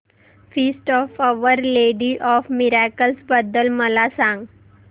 feast of our lady of miracles बद्दल मला सांगा